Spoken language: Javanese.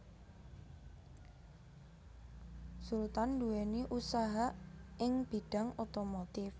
Sultan nduwèni usaha ing bidhang otomotif